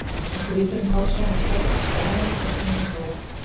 Og grípur um háls mér með kreppta hönd og snúinn lófa.